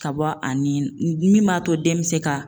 Ka bɔ ani min b'a to den bɛ se ka